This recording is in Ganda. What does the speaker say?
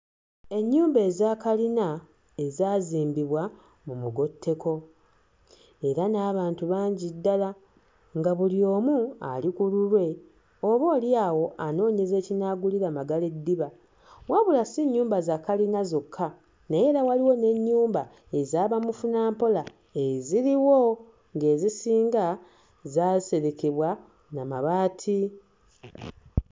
Ennyumba eza kalina ezaazimbibwa mu mugotteko. Era n'abantu bangi ddala nga buli omu ali ku lulwe oboolyawo anoonyeza ekinaagulira magala eddiba. Wabula si nnyumba za kalina zokka, naye era waliwo n'ennyumba eza bamufunampola eziriwo ng'ezisinga zaaserekebwa na mabaati.